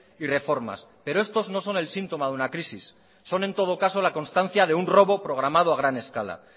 y reformas pero estos no son el síntoma de una crisis son en todo caso la constancia de un robo programado a gran escala